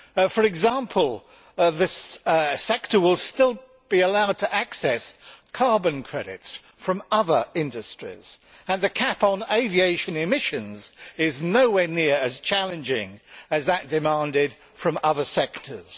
For example, this sector will still be allowed to access carbon credits from other industries, and the cap on aviation emissions is nowhere near as challenging as that demanded from other sectors.